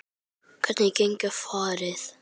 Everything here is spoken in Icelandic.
Hvenær getum við farið?